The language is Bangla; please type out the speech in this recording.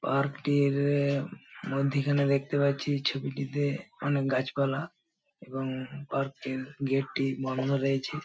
পার্ক -টি-র-এ মধ্যিখানে দেখতে পাচ্ছি ছবিটিতে অনেক গাছপালা এবং পার্ক -টির গেট -টি বন্ধ রয়েছে।